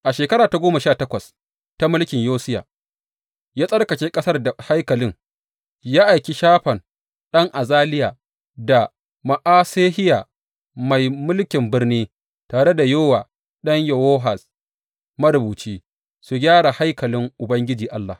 A shekara ta goma sha takwas ta mulkin Yosiya, ya tsarkake ƙasar da haikalin, ya aiki Shafan ɗan Azaliya da Ma’asehiya mai mulkin birni, tare da Yowa ɗan Yowahaz, marubuci, su gyara haikalin Ubangiji Allah.